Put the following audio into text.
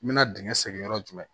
N mɛna dingɛ segin yɔrɔ jumɛn